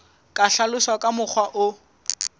ka hlaloswa ka mokgwa o